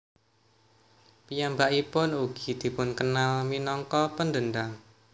Piyambakpipun ugi dipunkenal minangka pendendam